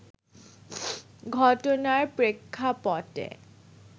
ঘটনার প্রেক্ষাপটে